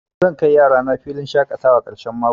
Zan kai yarana filin shaƙatawa ƙarshen mako.